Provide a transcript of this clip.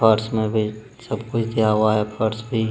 Parts में भी सबकुछ दिया हुआ है फर्श भी।